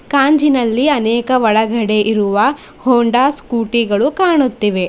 ಕಾಂಜಿನಲ್ಲಿ ಅನೇಕ ಒಳಗಡೆ ಇರುವ ಹೋಂಡಾ ಸ್ಕೂಟಿ ಗಳು ಕಾಣುತ್ತಿವೆ.